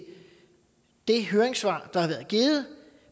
det høringssvar der er givet